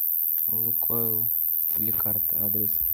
лукойл ликард адрес